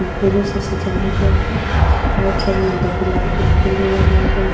फूलों से सजाया गया है। दो गुलाब के फूल भी लगाए गए --